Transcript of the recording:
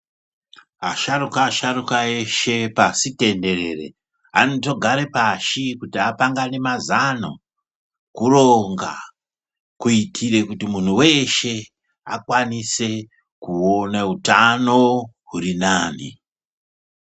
Asharukwa-asharukwa eshe pasi tenderere. Anotogare pashi kuti apangane mazano kuronga kuitire kuti munhu weshe akwanise kuona utano huri nani.